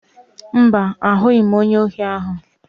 Mba, ahụghị m onye ohi ahụ.